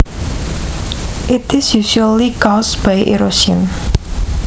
It is usually caused by erosion